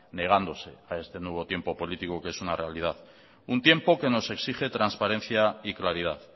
negándose a este nuevo tiempo político que es una realidad un tiempo que nos exige transparencia y claridad